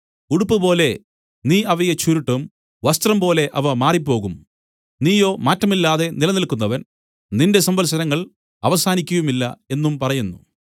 ഉടുപ്പുപോലെ നീ അവയെ ചുരുട്ടും വസ്ത്രംപോലെ അവ മാറിപ്പോകും നീയോ മാറ്റമില്ലാതെ നിലനിൽക്കുന്നവൻ നിന്റെ സംവത്സരങ്ങൾ അവസാനിക്കയുമില്ല എന്നും പറയുന്നു